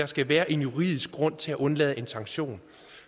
skal være en juridisk grund til at undlade en sanktion